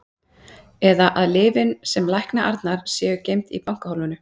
Eða að lyfin sem lækna Arnar séu geymd í bankahólfinu.